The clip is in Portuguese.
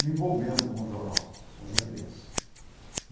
me envolvendo com o jornal o Jandirense